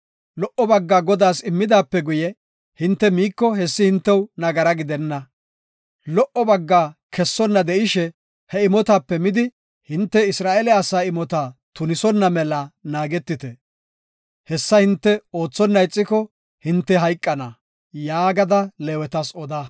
Lo77o baggaa Godaas immidaape guye hinte miiko hessi hintew nagara gidenna. Lo77o baggaa kessonna de7ishe he imotape midi hinte Isra7eele asaa imota tunisonna mela naagetite; hessa hinte oothonna ixiko hinte hayqana” yaagada Leewetas oda.